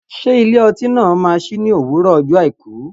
Ṣé ilé ọtí náà máa sí ní òwúrọ̀ ọjọ́ àìkú?